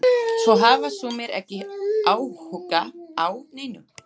Svo hafa sumir ekki áhuga á neinu.